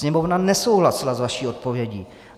Sněmovna nesouhlasila s vaší odpovědí.